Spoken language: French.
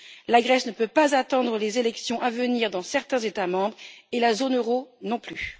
La Grèce ne peut pas attendre les élections à venir dans certains États membres et la zone euro non plus.